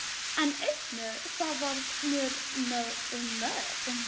En einnig það varð mér um megn.